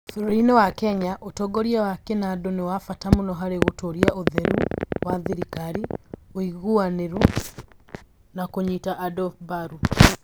Bũrũri-inĩ wa Kenya, ũtongoria wa kĩnandũ nĩ wa bata mũno harĩ gũtũũria ũtheru wa thirikari, ũigananĩru, na kũnyita andũ mbaru.